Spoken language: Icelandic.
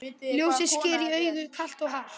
Ljósið sker í augu, kalt og hart.